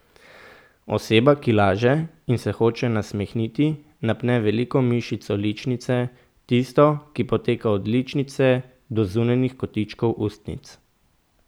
Oseba, ki laže in se hoče nasmehniti, napne veliko mišico ličnice, tisto, ki poteka od ličnice do zunanjih kotičkov ustnic.